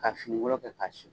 Ka finikolon kɛ ka siri.